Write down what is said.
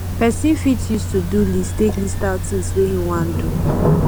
person fit use todo list take list out things wey im wan do